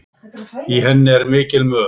Í henni er mikill mör.